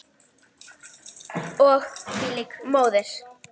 Og hvílík móðir!